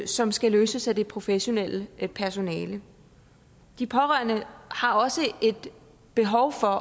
som skal løses af det professionelle personale de pårørende har også et behov for